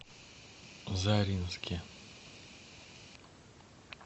заринске